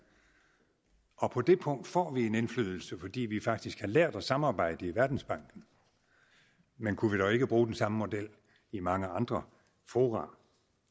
og på det punkt får vi en indflydelse fordi vi faktisk har lært at samarbejde i verdensbanken men kunne vi dog ikke bruge den samme model i mange andre fora